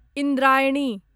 Indrayani